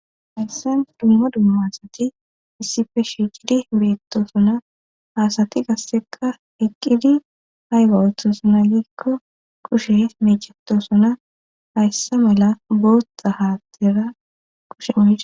hayssen dumma dumma asati issife shiiqidi beettosona haasati gasseqa eqqidi hayga ooththosona giikko kushe meecetosona hayssa mala boothta haattera kushe mocei